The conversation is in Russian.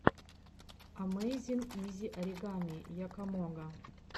амэйзин изи оригами якомога